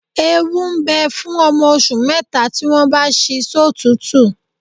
Ewu ń bẹ fún ọmọ oṣù mẹ́ta tí wọ́n bá ṣí sọ́tùútù